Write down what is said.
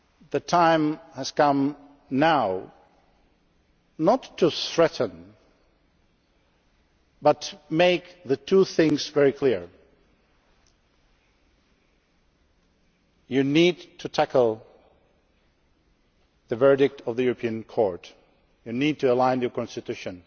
bell then? The time has come now, not to threaten, but to make two things very clear you need to tackle the verdict of the European Court. You need to align your